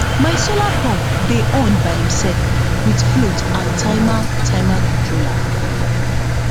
my solar pump dey on by imself with float and timer timer controller